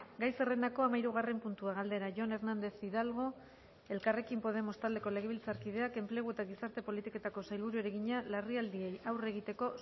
gai zerrendako hamahirugarren puntua galdera jon hernández hidalgo jauna elkarrekin podemos taldeko legebiltzarkideak enplegu eta gizarte politiketako sailburuari egina larrialdiei aurre egiteko